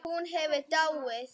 Ef hún hefði dáið.